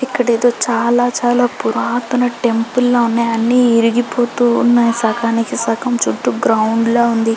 ఇక్కడ ఎదో చాలా చాలా పురాతన టెంపుల్ లా ఉంది అన్ని ఇరిగిపోతున్నాయి సగానికి సగం చుట్టూ గ్రౌండ్ లా ఉంది .